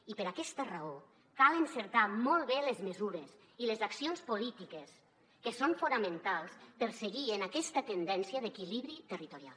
i per aquesta raó cal encertar molt bé les mesures i les accions polítiques que són fonamentals per seguir en aquesta tendència d’equilibri territorial